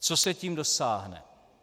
Čeho se tím dosáhne?